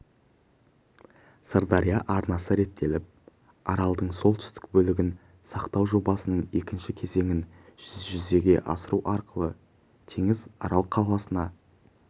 сырдария арнасы реттеліп аралдың солтүстік бөлігін сақтау жобасының екінші кезеңін жүзеге асыру арқылы теңіз арал қаласына